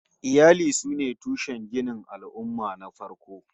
Iyali sune tushen ginin al'ummah na farko